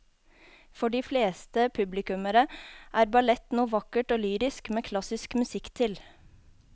For de fleste publikummere er ballett noe vakkert og lyrisk med klassisk musikk til.